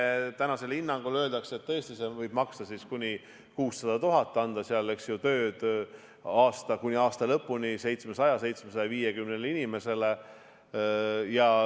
Jah, see meede tänasel hinnangul võib tõesti maksta kuni 600 000 eurot ja anda tööd kuni aasta lõpuni 700–750 inimesele.